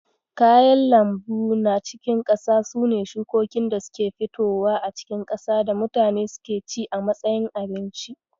Kayan lambu na cikin ƙasa sune shukokin da suke fitowa a cikin ƙasa da mutane suke ci a matsayin abinci.